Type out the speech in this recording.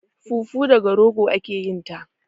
Fufu daga rogo ake yin ta